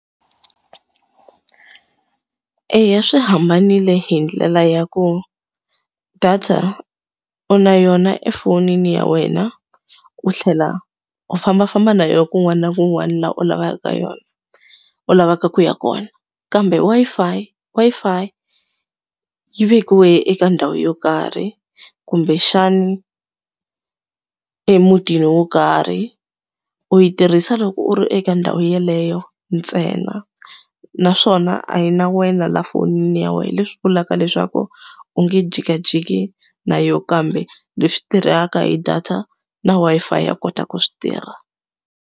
Eya swi hambanile hi ndlela ya ku data u na yona efonini ya wena, u tlhela u fambafamba na yona kun'wana na kun'wana laha u lavaka yona, u lavaka ku ya kona. Kambe Wi-Fi Wi-Fi yi vekiwile eka ndhawu yo karhi, kumbexani emutini wo karhi. U yi tirhisa loko u ri eka ndhawu yeleyo ntsena, naswona a yi na wena la fonini ya wena leswi vulaka leswaku u nge jikajiki na yona. Kambe leswi tirhaka hi data na Wi-Fi ya kota ku swi tirha.